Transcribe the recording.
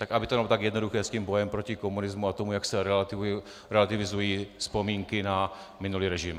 Tak aby to nebylo tak jednoduché s tím bojem proti komunismu a tomu, jak se relativizují vzpomínky na minulý režim.